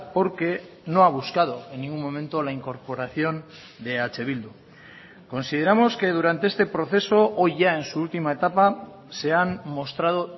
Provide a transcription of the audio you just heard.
porque no ha buscado en ningún momento la incorporación de eh bildu consideramos que durante este proceso hoy ya en su última etapa se han mostrado